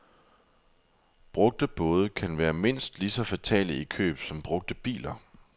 Brugte både kan være mindst lige så fatale i køb som brugte biler.